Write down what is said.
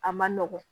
A man nɔgɔn